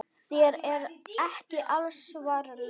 Þér er ekki alls varnað.